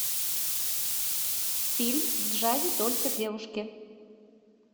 фильм в джазе только девушки